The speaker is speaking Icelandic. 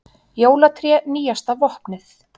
Jólatré nýjasta vopnið